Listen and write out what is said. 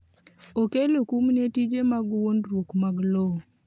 okelo kum ni tije mag wuondruok mag lowo